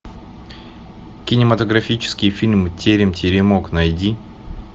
кинематографический фильм терем теремок найди